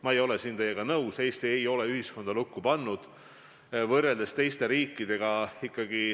Ma ei ole teiega nõus, Eesti ei ole ühiskonda lukku pannud, seda just võrreldes teiste riikidega.